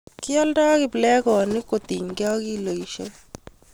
kioldei kiplekonik kotinygei ak kiloit